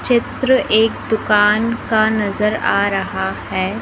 चित्र एक दुकान का नजर आ रहा है।